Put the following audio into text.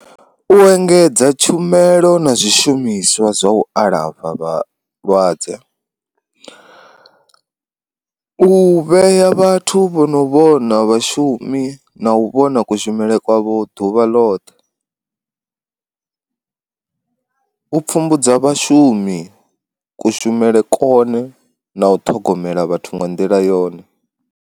U engedza tshumelo na zwishumiswa zwa u alafha vhalwadze, u vhea vhathu vho no vhona vhashumi na u vhona kushumele kwavho ḓuvha ḽoṱhe. u pfhumbudza vhashumi kushumele kone na u ṱhogomela vhathu nga nḓila yone.